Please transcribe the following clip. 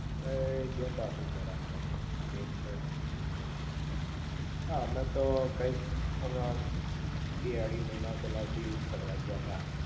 એ ધ્યાન રાખવું પડ મેન તો આ અમે તો કૈક હમણાં બે અઢી મહિના પેહલા દીવ ફરવા ગયા તા